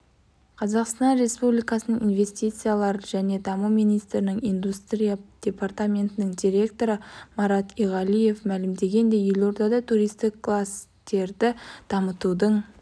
қазақстан республикасының инвестициялар және даму министрлігінің индустрия департаментінің директоры марат иғалиев мәлімдегендей елордада туристік кластерді дамытудың